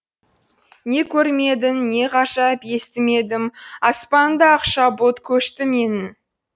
не көрмедім не ғажап естімедім аспанымда ақша бұлт көшті менің